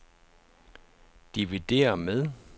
dividér med